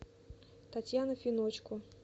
татьяна финочко